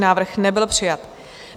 Návrh nebyl přijat.